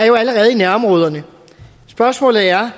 jo allerede i nærområderne spørgsmålet er